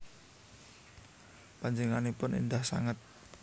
Panjenenganipun endah sanget